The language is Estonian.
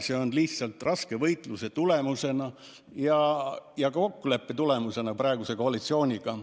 See on lihtsalt raske võitluse tulemusel saavutatud kokkulepe praeguse koalitsiooniga.